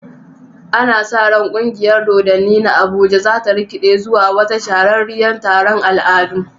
Ana sa ran kungiyar dodanni na Abuja za ta rikide zuwa wata shahararriyar taron al'adu.